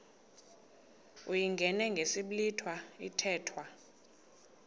uyingene ngesiblwitha kuthethwa